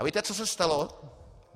A víte, co se stalo?